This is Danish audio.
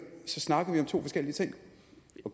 snakker om to forskellige ting